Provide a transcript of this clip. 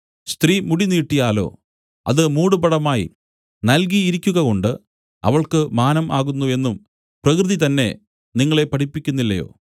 സ്ത്രീ മുടി നീട്ടിയാലോ അത് മൂടുപടമായി നല്കിയിരിക്കുകകൊണ്ട് അവൾക്ക് മാനം ആകുന്നു എന്നും പ്രകൃതി തന്നെ നിങ്ങളെ പഠിപ്പിക്കുന്നില്ലയോ